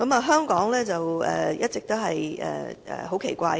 香港是一個很奇怪的地方。